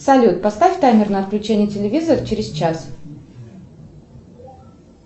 салют поставь таймер на отключение телевизора через час